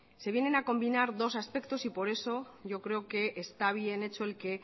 se vienen a combinar dos aspectos y por eso yo creo que está bien hecho el que